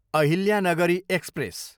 Ahilyanagari express